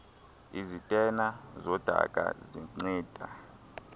izitena zodaka zinceda